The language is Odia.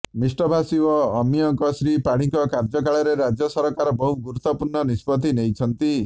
ମିଷ୍ଟଭାଷୀ ଓ ଆମାୟିକ ଶ୍ରୀ ପାଢ଼ୀଙ୍କ କାର୍ଯ୍ୟକାଳରେ ରାଜ୍ୟ ସରକାର ବହୁ ଗୁରୁତ୍ୱପୂର୍ଣ୍ଣ ନିଷ୍ପତ୍ତି ନେଇଛନ୍ତି